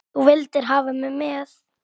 Þú vildir hafa mig með.